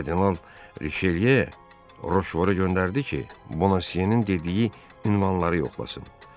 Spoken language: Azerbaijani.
Kardinal Rişelye Roşvora göndərdi ki, Bona Seninin dediyi ünvanları yoxlasın.